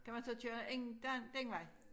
Kan man så køre en der den vej